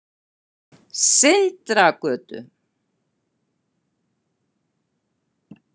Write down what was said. Sindragötu